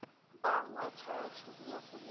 বাংলা ছায়া ছবি আসলে